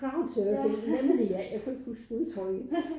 Crowdsurfing nemlig ja jeg kunne ikke huske udtrykket